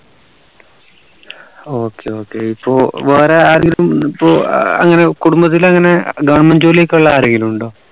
okay okay ഇപ്പോ വേറെ ആരെങ്കിലും ഇപ്പോ അങ്ങനെ കുടുംബത്തിൽ അങ്ങനെ government ജോലി ഒക്കെ ഉള്ള ആരെങ്കിലും ഉണ്ടോ